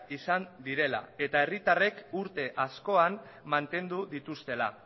izan direla eta herritarrek urte askoan mantendu dituztela